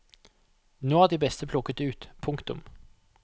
Nå er de beste plukket ut. punktum